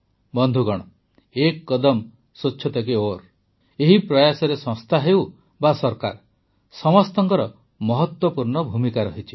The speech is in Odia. ବନ୍ଧୁଗଣ ଏକ୍ କଦମ୍ ସ୍ୱଚ୍ଛତା କୀ ଓର୍ ଏହି ପ୍ରୟାସରେ ସଂସ୍ଥା ହେଉ ବା ସରକାର ସମସ୍ତଙ୍କର ମହତ୍ୱପୂର୍ଣ୍ଣ ଭୂମିକା ରହିଛି